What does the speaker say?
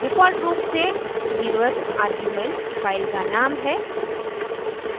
default रूप से 0th zeroeth argument file का नाम है